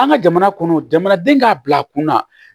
An ka jamana kɔnɔ jamanaden k'a bila kunna